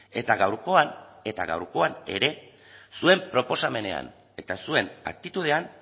eta gaurkoan eta gaurkoan ere zuen proposamenean eta zuen aktitudean